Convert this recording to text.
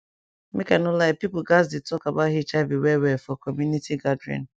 make i no lie people gatz dey talk about hiv well well for community gathering